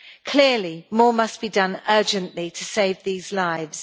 Clearly, more must be done urgently to save these lives.